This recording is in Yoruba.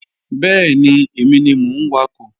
Bẹ́ẹ̀ni, èmi ni mò ń wakọ̀